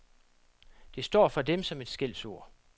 Det står for dem som et skældsord.